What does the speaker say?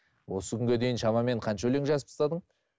осы күнге дейін шамамен қанша өлең жазып тастадың